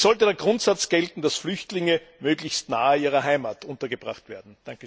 Denn es sollte der Grundsatz gelten, dass Flüchtlinge möglichst nahe ihrer Heimat untergebracht werden.